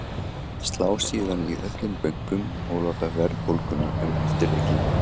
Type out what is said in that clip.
Slá síðan í öllum bönkum og láta verðbólguna um eftirleikinn.